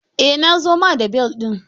Eh na zo ma da bel ɗin.